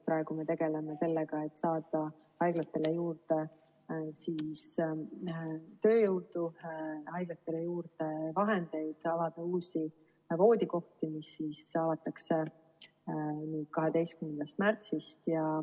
Praegu me tegeleme sellega, et saada haiglatele juurde tööjõudu ja vahendeid, avada uusi voodikohti, mis avatakse 12. märtsist.